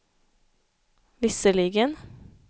visserligen